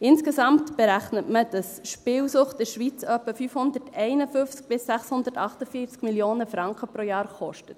Insgesamt berechnet man, dass Spielsucht in der Schweiz etwa 551–648 Mio. Franken pro Jahr kostet.